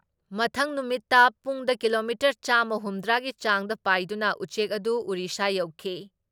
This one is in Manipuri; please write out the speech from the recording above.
ꯃꯊꯪ ꯅꯨꯃꯤꯠꯇ ꯄꯨꯡꯗ ꯀꯤꯂꯣꯃꯤꯇꯔ ꯆꯥꯝꯃ ꯍꯨꯝꯗ꯭ꯔꯥ ꯒꯤ ꯆꯥꯡꯗ ꯄꯥꯏꯗꯨꯅ ꯎꯆꯦꯛ ꯑꯗꯨ ꯎꯔꯤꯁꯥ ꯌꯧꯈꯤ ꯫